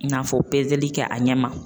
N'a fɔ pezeli kɛ a ɲɛ ma.